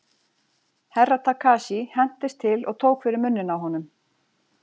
Herra Takashi hentist til og tók fyrir munninn á honum.